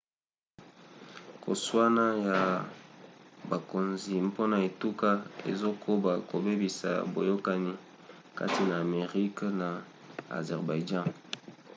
koswana ya bakonzi mpona etuka ezokoba kobebisa boyokani kati na arménie na azerbaïdjan